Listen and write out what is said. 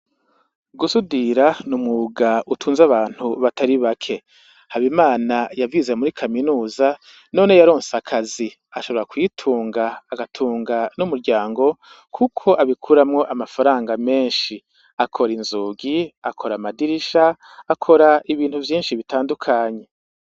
Gusudira ni umwuga utunze abantu batari bake HABIMANA yavyize muri kaminuza none yaronse akazi ashobora kwitunga agatunga n' umuryango kuko abikuramwo amafaranga menshi akora inzugi akora amadirisha akora ibintu vyinshi bitandukanye.